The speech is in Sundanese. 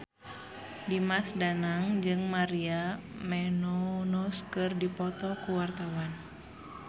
Dimas Danang jeung Maria Menounos keur dipoto ku wartawan